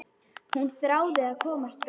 Hún þráði að komast burt.